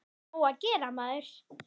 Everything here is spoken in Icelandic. Nóg að gera, maður.